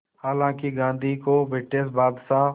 हालांकि गांधी को ब्रिटिश बादशाह